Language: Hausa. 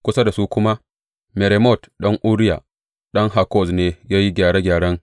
Kusa da su kuma, Meremot ɗan Uriya, ɗan Hakkoz ne ya yi gyare gyaren.